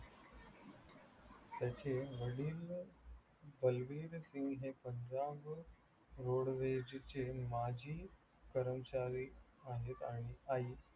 त्याचे वडील बलवीरसिंह हे पंजाब चे माजी कर्मचारी आहे.